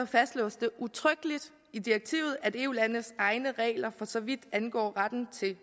fastslås det udtrykkeligt i direktivet at eu landenes egne regler for så vidt angår retten til